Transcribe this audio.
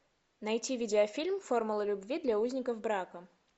найти видеофильм формула любви для узников брака